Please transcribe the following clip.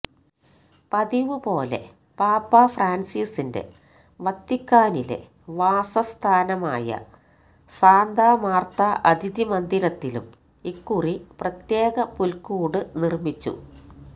പതിവുപോലെ പാപ്പാ ഫ്രാന്സിസിന്റെ വത്തിക്കാനിലെ വാസസ്ഥാനമായ സാന്താ മാര്ത്ത അതിഥി മന്ദിരത്തിലും ഇക്കുറി പ്രത്യേക പുല്ക്കൂട് നിര്മ്മിച്ചു